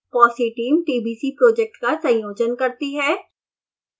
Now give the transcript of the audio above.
fossee team tbc project का संयोजन करती है